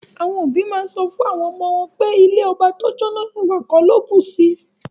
Awon obi maa n so fun awon omo won pe ilẹ̀ ọbà tó jó, èwà kò ló bùṣí.